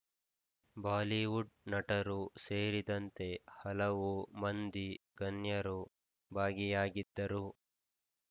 Bollywood ನಟರು ಸೇರಿದಂತೆ ಹಲವು ಮಂದಿ ಗನ್ಯರು ಭಾಗಿಯಾಗಿದ್ದರು